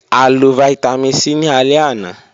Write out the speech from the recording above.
A lọ Vitamin c ni alẹ ana.